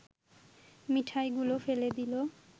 মিঠাইগুলো ফেলে দিল